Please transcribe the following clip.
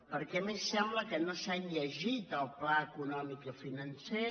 perquè a més sembla que no s’han llegit el pla econòmic i financer